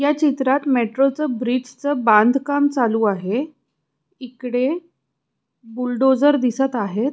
ह्या चित्रात मेट्रो च ब्रिज च बांधकाम चालू आहे इकडे बुलडोज़र दिसत आहेत.